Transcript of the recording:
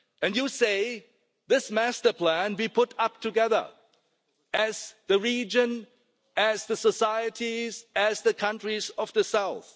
You can say this master plan will be put up together, as the region, as the societies, as the countries of the south.